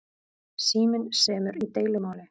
Síminn semur í deilumáli